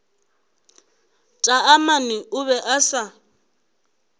taamane o be a sa